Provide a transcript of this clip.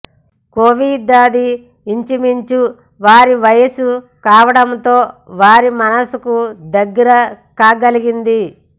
కోవిదదీ ఇంచుమించు వారి వయసు కావడంతో వారి మనసుకు దగ్గర కాగలిగింది